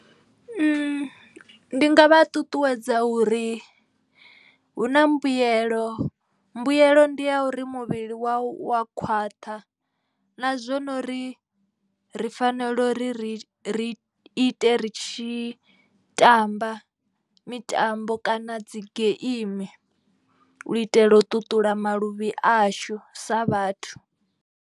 Ndi nga vha ṱuṱuwedza uri hu na mbuyelo. Mbuyelo ndi ya uri muvhili wau wa khwaṱha na zwo nori ri fanela uri ri ri ite ri tshi tamba mitambo kana dzi geimi. U itela u ṱuṱula maluvhi ashu sa vhathu.